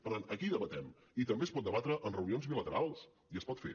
per tant aquí debatem i també es pot debatre en reunions bilaterals i es pot fer